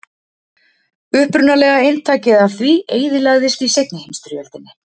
upprunalega eintakið af því eyðilagðist í seinni heimsstyrjöldinni